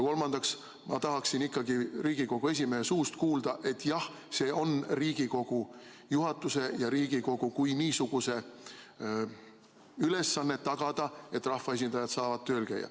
Ja ma tahaksin ikkagi Riigikogu esimehe suust kuulda, et jah, see on Riigikogu juhatuse ja Riigikogu kui niisuguse ülesanne tagada, et rahvaesindajad saavad tööl käia.